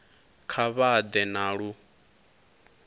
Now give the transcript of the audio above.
kha vha ḓe na lu